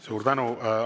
Suur tänu!